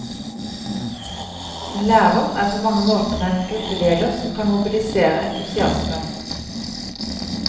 En lærer er på mange måter en gruppeleder som kan mobilisere entusiasme.